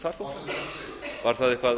þetta var auðvitað